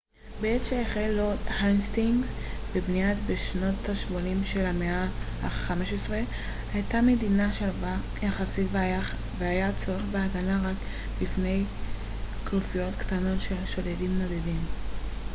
בעת שהחל לורד האסטינגס בבנייתה בשנות השמונים של המאה ה־15 הייתה המדינה שלווה יחסית והיה צורך בהגנה רק מפני כנופיות קטנות של שודדים נודדים